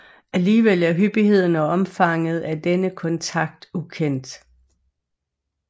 Alligevel er hyppigheden og omfanget af denne kontakt ukendt